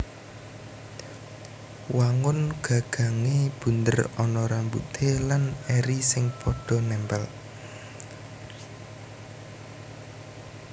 Wangun gagangé bunder ana rambute lan eri sing padha nèmpèl